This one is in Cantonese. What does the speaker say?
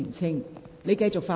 請你繼續發言。